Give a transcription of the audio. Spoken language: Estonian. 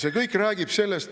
See kõik räägib sellest ...